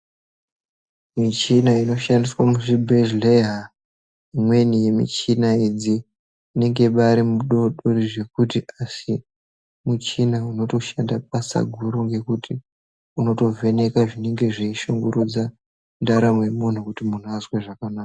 Michina inoshandiswa muzvibhedhlera imweni michina idzi asi michina inotabata basa guru nekuvheneka zvinenge zvichishungurudza ndaramo yemunhu kuti muntu azwe zvakanaka.